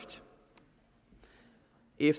ind